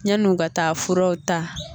Ɲanni u ka taa furaw ta